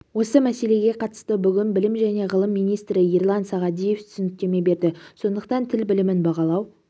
осы мәселеге қатысты бүгін білім және ғылым министрі ерлан сағадиев түсініктеме берді сондықтан тіл білімін бағалау